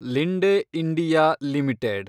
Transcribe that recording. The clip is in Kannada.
Linde India limited